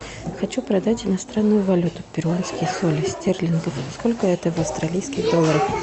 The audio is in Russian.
хочу продать иностранную валюту перуанские соли стерлингов сколько это в австралийских долларах